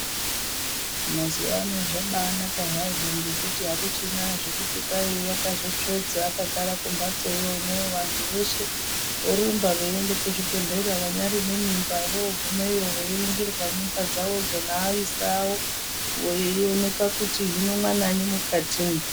Mazuva ano zvabaanaka hazvo ngekuti hakuchina zvokuti kwahi wakazotsvodza akagara kumbatsoyo. Vantu veshe vorumba veiende kuzvibhedhlera. Vanyaari nemimba voogumeyo veiringirwa mimba dzavodzo neaisa avo veioneka kuti hino mwananyi mukatimwo.